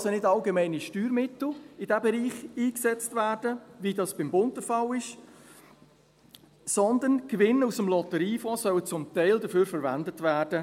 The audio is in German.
Es sollen also nicht allgemeine Steuermittel in diesem Bereich eingesetzt werden, wie das beim Bund der Fall ist, sondern es sollen zum Teil Gewinne aus dem Lotteriefonds dafür verwendet werden.